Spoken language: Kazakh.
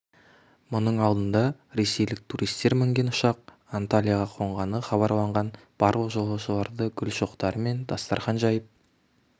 мұның алдында ресейлік туристер мінген ұшақ анталияға қонғаны хабарланған барлық жолаушыларды гүл шоқтары мен дастархан жайып